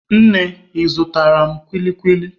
Nne, ị zụtara m kwili kwili?